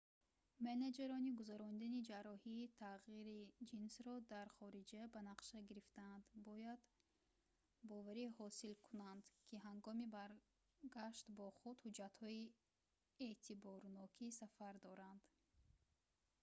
менеҷерони гузарондани ҷарроҳии тағйири ҷинсро дар хориҷа ба нақша гирифтаанд бояд боварӣ ҳосил кунанд ки ҳангоми баргашт бо худ ҳуҷҷатҳои эътиборноки сафар доранд